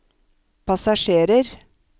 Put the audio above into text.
passasjerer